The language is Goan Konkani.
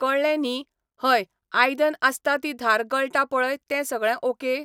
कळ्ळें न्ही हय आयदन आसता ती धार गळटा पळय तें सगळें ओके ?